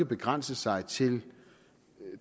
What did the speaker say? begrænse sig til